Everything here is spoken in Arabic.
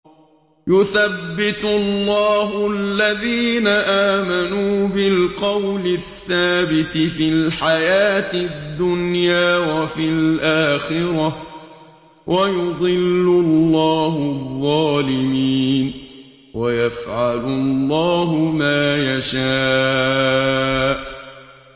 يُثَبِّتُ اللَّهُ الَّذِينَ آمَنُوا بِالْقَوْلِ الثَّابِتِ فِي الْحَيَاةِ الدُّنْيَا وَفِي الْآخِرَةِ ۖ وَيُضِلُّ اللَّهُ الظَّالِمِينَ ۚ وَيَفْعَلُ اللَّهُ مَا يَشَاءُ